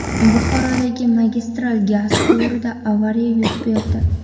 Buxorodagi magistral gaz quvurida avariya yuz berdi.